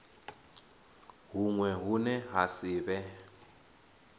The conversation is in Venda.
huṅwe hune ha si vhe